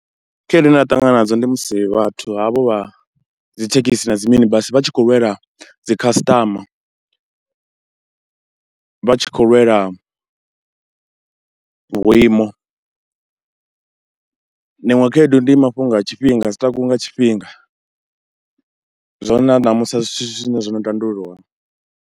Khaedu ine ra ṱangana nadzo ndi musi vhathu havho vha dzi thekhisi na dzi mini basi vha tshi khou lwela dzi khasiṱama, vha tshi khou lwela vhuimo. Iṅwe khaedu ndi mafhungo a tshifhinga a dzi takuwi nga tshifhinga, zwine na ṋamusi a si zwithu zwine zwo no tandululwaho.